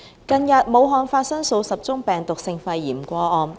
近日，武漢發生數十宗病毒性肺炎個案。